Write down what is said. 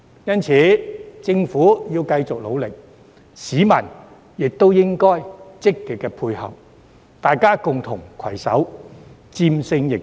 因此，政府應該繼續努力，市民亦應該積極配合，大家共同攜手戰勝疫情。